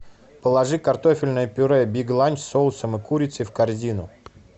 положи картофельное пюре биг ланч с соусом и курицей в корзину